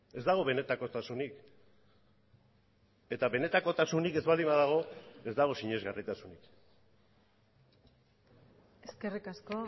ez dago benetakotasunik eta benetakotasunik ez baldin badago ez dago sinesgarritasunik eskerrik asko